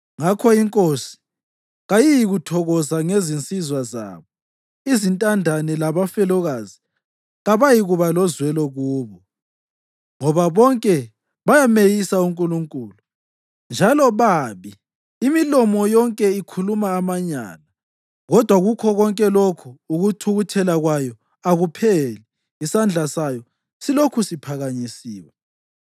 Ngakho iNkosi kayiyikuthokoza ngezinsizwa zabo, izintandane labafelokazi kayiyikuba lozwelo kubo, ngoba bonke bayameyisa uNkulunkulu, njalo babi; imilomo yonke ikhuluma amanyala. Kodwa kukho konke lokhu, ukuthukuthela kwayo akupheli, isandla sayo silokhu siphakanyisiwe.